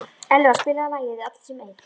Elva, spilaðu lagið „Allir sem einn“.